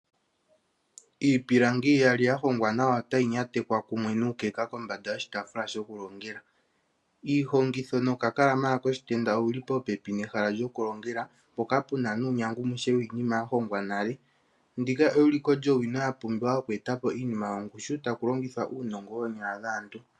Iipilangi iyali ya hongwa nawa otayi nantekwa kumwe nuukeka kombanda yoshitaafula shokulongela. Iihongitho nokakalamala koshitenda owu li popepi noshi shokulongela, mpoka pu na nuunandjagumuke wiinima ya hongwa nale. Ndika euliko lyowino yokweeta po iinima yongushu taku longithwa uunongo woonyala dhaantu.